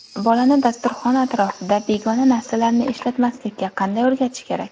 Bolani dasturxon atrofida begona narsalarni ishlatmaslikka qanday o‘rgatish kerak?